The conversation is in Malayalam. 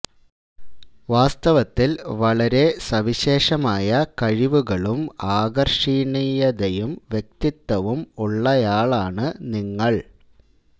വാസ്തവത്തില് വളരെ സവിശേഷമായ കഴിവുകളും ആകര്ഷണീയതയും വ്യക്തിത്വവും ഉള്ളയാളാണു നിങ്ങള്